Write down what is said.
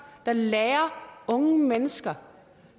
der lærer unge mennesker